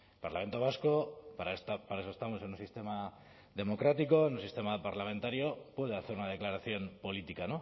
parlamento vasco para eso estamos en un sistema democrático un sistema parlamentario puede hacer una declaración política